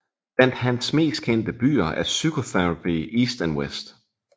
Blandt Hans mest kendte bøger er Psychotherapy East and West